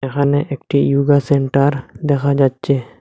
এখানে একটি yoga centre দেখা যাচ্ছে।